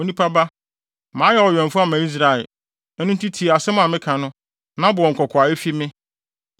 “Onipa ba, mayɛ wo ɔwɛmfo ama Israel; ɛno nti tie asɛm a meka no, na bɔ wɔn kɔkɔ a efi me.